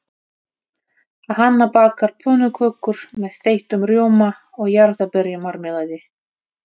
Hanna bakar pönnukökur með þeyttum rjóma og jarðarberjamarmelaði.